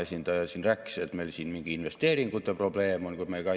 Eesti tööjõu tootlikkus on jõudnud viimase 30 aastaga 84%-ni Euroopa keskmisest, mis on igati tubli tase.